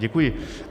Děkuji.